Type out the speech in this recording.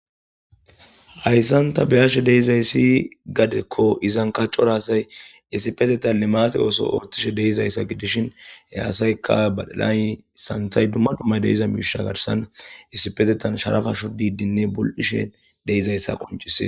Hayssan ta be'ashshe de'izayssi gadekko izanka corra assay issifetettan limatte ooththo ooththishshe dizayssi gidishshin he assayika badallay sanththay dumma dumma de'iza miishsha garssan issifetettan sharpa shodidinne bul'ishshe de'izayssa qoncisees